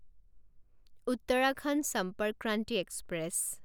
Uttarakhand Sampark Kranti express